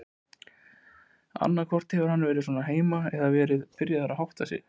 Annaðhvort hefur hann komið svona heim eða verið byrjaður að hátta sig.